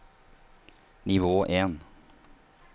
nivå en